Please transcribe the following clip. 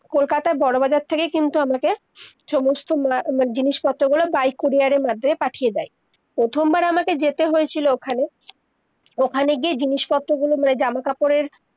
কলকাতার, বড় বাজার থেকে কিনতো অনেকে, সমস্ত, ম-মানে জিনিস পত্র গুলো, by courier এ মধ্যে পাঠিয়ে দেয়, প্রথমবার আমাকে যেতে হয়েছিলো ওখানে, ওখানে গিয়ে জিনিস-পত্র গুলো ম-জামা-কাপড়ের-